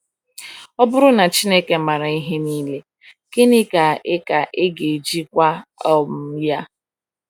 Ọ bụrụ na Chineke maara ihe niile, gịnị ka ị ka ị ga-eji gwa um Ya?